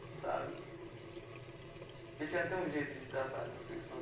Sabe porque a Tiana tem um jeito de tratar com as pessoas.